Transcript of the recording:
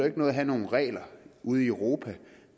ikke noget at have nogle regler ude i europa